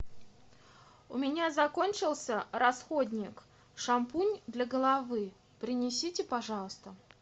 у меня закончился расходник шампунь для головы принесите пожалуйста